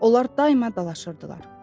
Onlar daima dalaşırdılar.